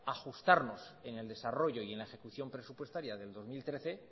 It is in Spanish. ajustarnos en el desarrollo y en la ejecución presupuestaria del dos mil trece